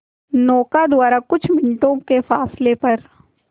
नौका द्वारा कुछ मिनटों के फासले पर